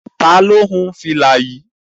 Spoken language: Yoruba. Ta ló hun fìlà yìí?